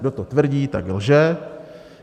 Kdo to tvrdí, tak lže.